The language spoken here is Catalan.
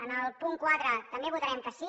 en el punt quatre també votarem que sí